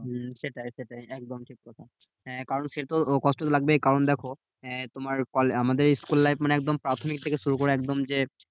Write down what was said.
হম সেটাই সেটাই একদম ঠিক কথা। কারণ সে তো কষ্ট লাগবেই কারণ দেখো আহ তোমার আমাদের school life মানে একদম প্রাথমিক থেকে শুরু করে একদম যে